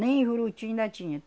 Nem em Juruti ainda tinha.